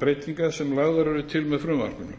breytingar sem lagðar eru til með frumvarpinu